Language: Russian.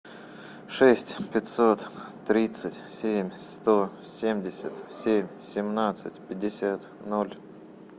шесть пятьсот тридцать семь сто семьдесят семь семнадцать пятьдесят ноль